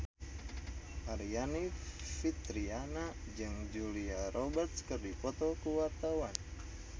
Aryani Fitriana jeung Julia Robert keur dipoto ku wartawan